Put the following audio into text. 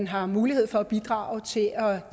har mulighed for at bidrage og